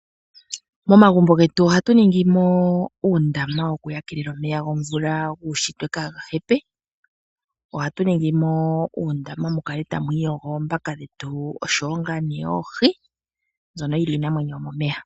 Momagumbo getu ohatu ningi mo uundama woku yakelela omeya gomvula guunshitwe kaaga hepe. Ohatu ningi mo uundama mu kale tamu iyogo oombaka dhetu osho wo nga ne oohi mbyono dhili iinamwenyo yomomeya.